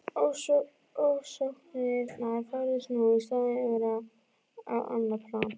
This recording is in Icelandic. Ofsóknirnar færðust nú í staðinn yfir á annað plan.